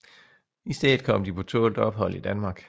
I stedet kom de på tålt ophold i Danmark